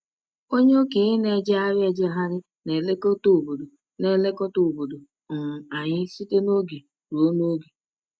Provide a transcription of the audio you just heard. Onye okenye na-ejegharị ejegharị na-eleta obodo na-eleta obodo um anyị site n’oge ruo n’oge.